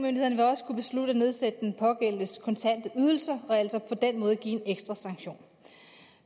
også kunne beslutte at nedsætte den pågældendes kontante ydelser og altså på den måde give en ekstra sanktion